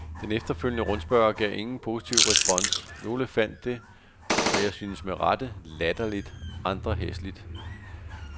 Den efterfølgende rundspørge gav ingen positiv respons, nogle fandt det, og synes jeg med rette, latterligt, andre hæsligt.